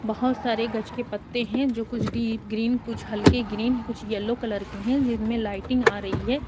बोहोत सारे गछ के पत्ते हैं जो कुछ डीप ग्रीन कुछ हल्के ग्रीन कुछ येलो कलर के हैं जिनमें लाइटिंग आ रही है।